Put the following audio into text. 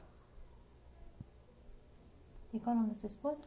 E qual o nome da sua esposa?